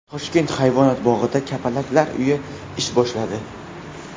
Toshkent hayvonot bog‘ida Kapalaklar uyi ish boshladi.